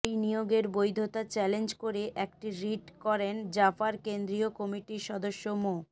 ওই নিয়োগের বৈধতা চ্যালেঞ্জ করে একটি রিট করেন জাপার কেন্দ্রীয় কমিটির সদস্য মো